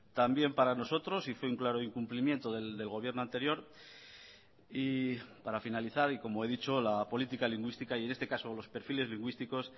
también para nosotros y fue un claro incumplimiento del gobierno anterior y para finalizar y como he dicho la política lingüística y en este caso los perfiles lingüísticos